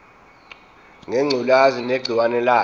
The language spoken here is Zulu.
ngengculazi negciwane layo